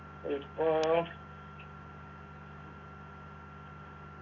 ഇപ്പൊ